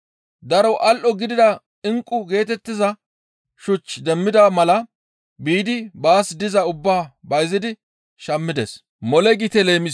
Daro al7o gidida inqqu geetettiza shuch demmida mala biidi baas diza ubbaa bayzidi shammides.